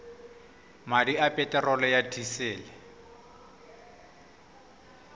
madi a peterolo ya disele